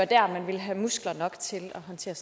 der vil have muskler nok til at håndtere